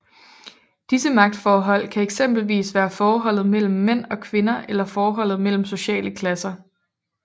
Disse magtforhold kan eksempelvis være forholdet mellem mænd og kvinder eller forholdet mellem sociale klasser